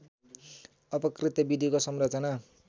अपकृत्य विधिको संरचना